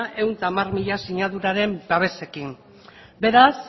ehun eta hamar mila sinaduraren babesarekin beraz